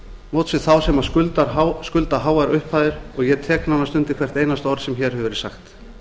móts við þá sem skulda háar upphæðir og ég tek nánast undir hvert einasta orð sem hér hefur verið sagt